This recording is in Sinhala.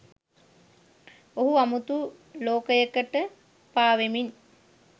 ඔහු අමුතු ලෝකයකට පාවෙමින්